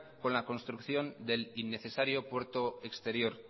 con la construcción del innecesario puerto exterior